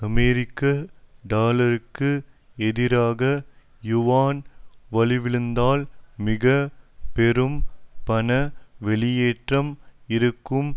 அமெரிக்க டாலருக்கு எதிராக யுவான் வலுவிழந்தால் மிக பெரும் பண வெளியேற்றம் இருக்கும்